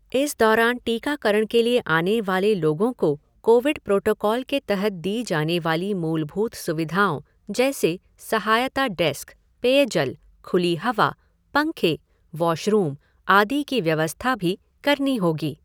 इस दौरान टीकाकरण के लिए आने वाले लोगों को कोविड प्रोटोकाल के तहत दी जाने वाली मूलभूत सुविधाओं जैसे सहायता डेस्क, पेयजल, खुली हवा, पंखे, वॉशरूम, आदि की व्यवस्था भी करनी होगी।